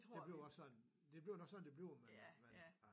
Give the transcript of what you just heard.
Det bliver også sådan det bliver nok sådan det bliver men øh men ja